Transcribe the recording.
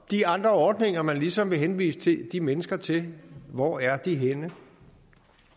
de andre ordninger man ligesom vil henvise de mennesker til hvor er de henne